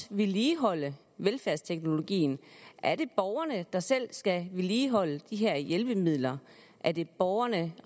vedligeholde velfærdsteknologien er det borgerne der selv skal vedligeholde de her hjælpemidler er det borgerne